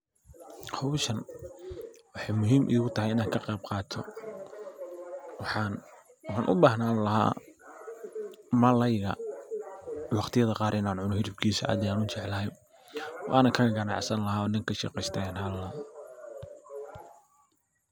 Hawshan waxay muhiim ii gu tahay inaan ka qayb qaato waxan u bahnan laha malalayga waqtiyada qaar inaan cuno hilibkiisa ayan aad u jeclahay. Waana ka ganacsan laha oo ninka ka shaqaysta ayan ahaan laha.